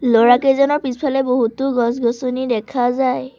ল'ৰাকেইজনৰ পিছফালে বহুতো গছ গছনি দেখা যায়।